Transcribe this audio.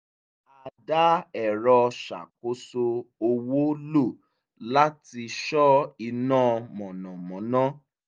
a dá ẹ̀rọ ṣàkóso owó lo láti ṣọ iná mọ̀nàmọ́ná